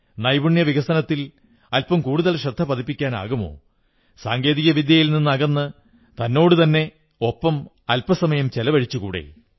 നൈപുണ്യ വികസനത്തിൽ അല്പം കൂടുതൽ ശ്രദ്ധ പതിപ്പിക്കാനാകുമോ സാങ്കേതിക വിദ്യയിൽ നിന്നകന്ന് തന്നോടുതന്നെ ഒപ്പം അല്പം സമയം ചെലവഴിച്ചുകൂടേ